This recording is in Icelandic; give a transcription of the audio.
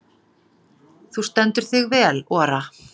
Þú stendur þig vel, Ora!